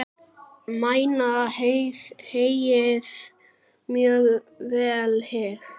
Mæna heyið mjög vel hygg.